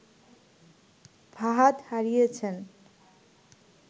ফাহাদ হারিয়েছেন